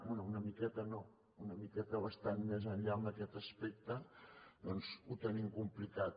bé una miqueta no una miqueta bastant més enllà en aquest aspecte doncs ho tenim complicat